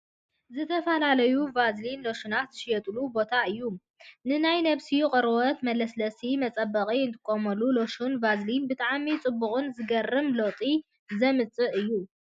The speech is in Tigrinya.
ዝተፈላለዩ ቫዝሊንን ሎሽናትን ዝሽየጠሉ ቦታ እዩ። ንናይ ነብስና ቆርበት መለስለሲን መፀበቅን እንጥቀመሎም ሎሽንን ቫዝሊን ብጣዕሚ ፅቡቅን ዝገርም ለውጢ ዘምፅእን እዩ።